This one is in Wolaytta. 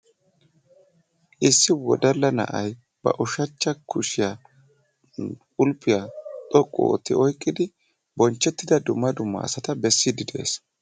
Issi wodalla na'ay ba ushachcha kushiyan kulffiya xoqqu ootti oyqqidi bonchchettida dumma dumma asata bessiiddi de'ees.